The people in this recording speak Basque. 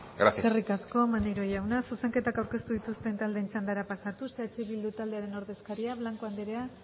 gracias eskerrik asko maneiro jauna zuzenketak aurkeztu dituzten taldeen txandara pasatuz eh bildu taldearen ordezkaria blanco andrea